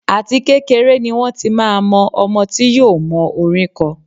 Àti kékeré ni wón ti máa mọ ọmọ tí yóò mọ orín kọ.